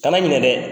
Kana ɲinɛ dɛ